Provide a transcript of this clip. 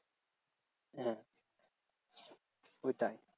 হ্যাঁ ওইটা